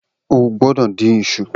O gbọdọ̀ dín iṣu